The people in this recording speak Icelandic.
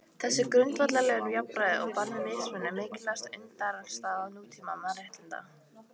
Þessi grundvallarregla um jafnræði og bann við mismunun er mikilvægasta undirstaða nútíma mannréttinda.